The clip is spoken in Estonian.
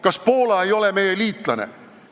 Kas Poola ei ole meie liitlane?